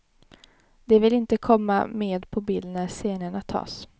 De vill inte komma med på bild när scenerna tas.